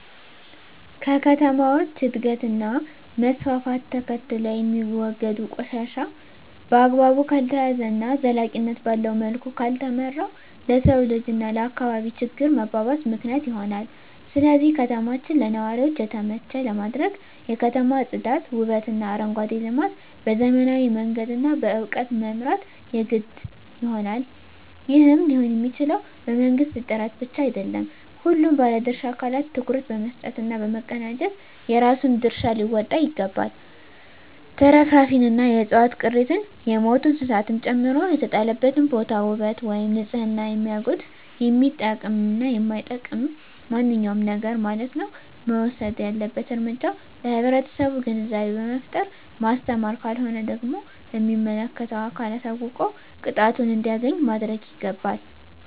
ከከተሞች እድገት እና መስፍፍት ተከትሎየሚወገዱ ቆሻሻ በአግባቡ ካልተያዘ እና ዘላቂነት ባለዉ መልኩ ካልተመራ ለሰዉ ልጅ እና ለአካባቢ ችግር መባባስ ምክንያት ይሆናል ስለዚህ ከተማችን ለነዋሪዎች የተመቸ ለማድረግ የከተማ ፅዳት ዉበትእና አረንጓዴ ልማት በዘመናዊ መንገድ እና በእዉቀት መምራት የግድ ይሆናል ይህም ሊሆንየሚችለዉ በመንግስት ጥረት ብቻ አይደለም ሁሉም ባለድርሻ አካላት ትኩረት በመስጠት እና በመቀናጀት የራሱን ድርሻ ሊወጣ ይገባል ትርፍራፊንእና የዕፅዋት ቅሪትን የሞቱ እንስሳትን ጨምሮ የተጣለበትን ቦታ ዉበት ወይም ንፅህናን የሚያጎድፍ የሚጠቅምም የማይጠቅምም ማንኛዉም ነገርማለት ነዉ እና መወሰድ ያለበት እርምጃ ለህብረተሰቡ ግንዛቤ በመፍጠር ማስተማር ካልሆነ ደግሞ ለሚመለከተዉ አካል አሳዉቆ ቅጣቱን እንዲያገኝ ማድረግይገባል